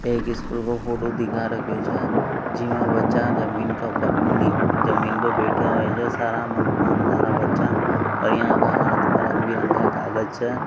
एक स्कूल की फोटो दिखा रख्ख्यो छे जीमे बच्चे ज़मीन के ऊप नी ज़मीन पर बेठ्या होया छे सारा माँ मन धरा बच्चा बढिया के हाथ में रंग बिरंगो कागज छे।